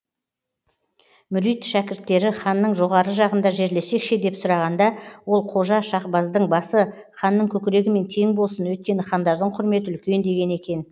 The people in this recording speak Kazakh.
мүрит шәкірттері ханның жоғары жағында жерлесек ше деп сұрағанда ол қожа шахбаздың басы ханның көкірегімен тең болсын өйткені хандардың құрметі үлкен деген екен